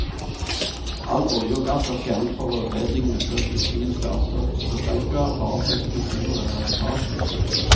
All olje og gass er fjernet fra rørledningene før kuttingen starter, så det skal ikke være fare for eksplosjoner eller lekkasje.